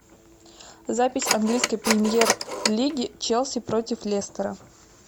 запись английской премьер лиги челси против лестера